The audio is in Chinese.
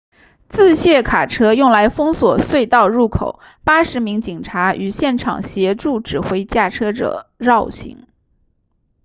自卸卡车用来封锁隧道入口80名警察于现场协助指挥驾车者绕行